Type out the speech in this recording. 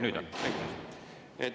Nüüd on, aitäh!